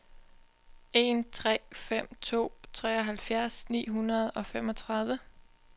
en tre fem to treoghalvfjerds ni hundrede og femogtredive